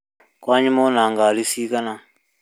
Kwanyu mwĩna ngari cigana